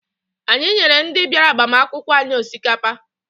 Anyị nyere ndị bịara agbamakwụkwọ anyị osikapa.